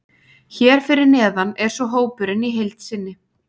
Hér fyrir neðan er svo hópurinn í heild sinni.